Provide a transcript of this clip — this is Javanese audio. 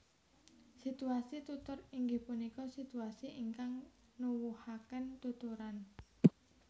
Situasi Tutur inggih punika situasi ingkang nuwuhaken tuturan